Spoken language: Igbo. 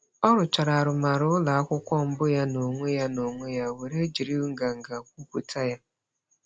Ọ rụchara arụmarụ ụlọakwụkwọ mbụ ya n'onwe ya n'onwe ya were jiri nganga kwupụta ya.